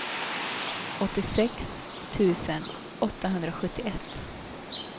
åttiosex tusen åttahundrasjuttioett